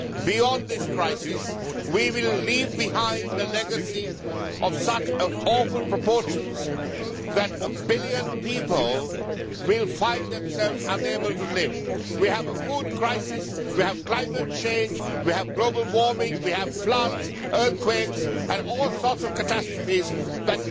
beyond this crisis, we will leave behind a legacy of such awful proportions that a billion people will find themselves unable to live. We have a food crisis, we have climate change, we have global warming, we have floods, earthquakes and all sorts of catastrophes which call